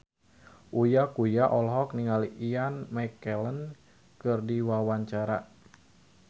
Uya Kuya olohok ningali Ian McKellen keur diwawancara